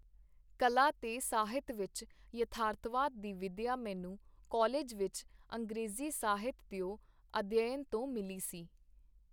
ਕਲਾ ਤੇ ਸਾਹਿਤ ਵਿਚ ਯਥਾਰਥਵਾਦ ਦੀ ਵਿਦਿਆ ਮੈਨੂੰ ਕਾਲਿਜ ਵਿਚ ਅੰਗਰੇਜ਼ੀ ਸਾਹਿਤ ਦਿਓ ਅਧਿਅਨ ਤੋਂ ਮਿਲੀ ਸੀ.